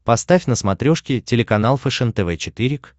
поставь на смотрешке телеканал фэшен тв четыре к